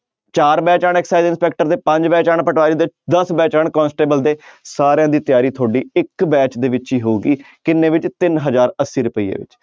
ਚਾਰ ਬੈਚ ਆਉਣ ਇੰਸਪੈਕਟਰ ਦੇ ਪੰਜ ਬੈਚ ਆਉਣ ਪਟਵਾਰੀ ਦੇ ਦਸ ਬੈਚ ਆਉਣ ਕੋਂਸੇਟਬਲ ਦੇ ਸਾਰਿਆਂ ਦੀ ਤਿਆਰੀ ਤੁਹਾਡੀ ਇੱਕ ਬੈਚ ਦੇ ਵਿੱਚ ਹੀ ਹੋਊਗੀ ਕਿੰਨੇ ਵਿੱਚ ਤਿੰਨ ਹਜ਼ਾਰ ਅੱਸੀ ਰੁਪਈਏ ਵਿੱਚ